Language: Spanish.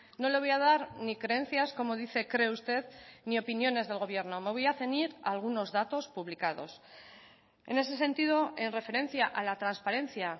no le voy a dar ni creencias como dice cree usted ni opiniones del gobierno me voy a ceñir a algunos datos publicados en ese sentido en referencia a la transparencia